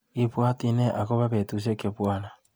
Ibwati nee akopobetushek chebwanii.